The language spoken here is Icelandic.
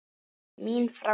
Mín framtíð?